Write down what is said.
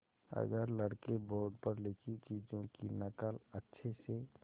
अगर लड़के बोर्ड पर लिखी चीज़ों की नकल अच्छे से